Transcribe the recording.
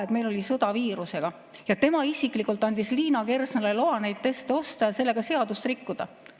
Aa, meil oli sõda viirusega ja tema isiklikult andis Liina Kersnale loa neid teste osta ja sellega seadust rikkuda.